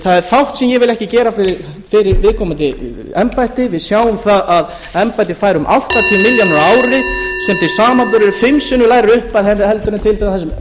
það er fátt sem ég vil ekki gera fyrir viðkomandi embætti við sjáum það að embættið fær um áttatíu milljónir á ári sem til samanburðar er fimm sinnum lægri upphæð en til dæmis